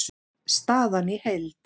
Staðan í heild